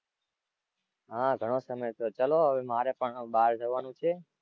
હાં ઘણો સામે થયો. ચલો હવે મારે પણ હવે બહાર જવાનું છે.